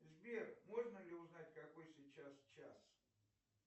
сбер можно ли узнать какой сейчас час